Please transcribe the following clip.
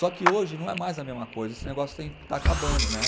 Só que hoje não é mais a mesma coisa, esse negócio tem está acabando, né?